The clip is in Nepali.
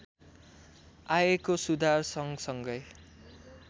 आएको सुधारसँगसँगै